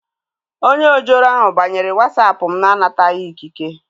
Onye ojoro ahu banyere Wasapụ mụ na-anataghị ikike